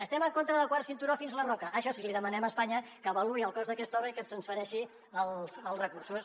estem en contra del quart cinturó fins a la roca això sí li demanem a espanya que avaluï el cost d’aquesta obra i que ens transfereixi els recursos